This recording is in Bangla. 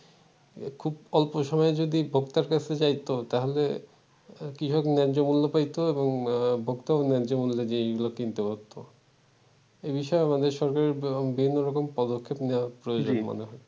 খুব অল্প সময়ে যদি ভোক্তার কাছে যাই তো তাহলে কৃষক ন্যায্য মূল্য পাইত এবং ভোক্তা ও নায্য মূল্য দিয়ে ই গুলা কিনতে পারত এ বিষয়ে আমাদের সকলের বিভিন্ন রকম পদক্ষেপ নেওয়া প্রয়োজন মনে হয়